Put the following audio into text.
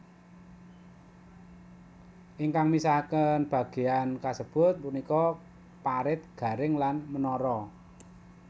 Ingkang misahkaken bagéyan kasebut punika parit garing lan menara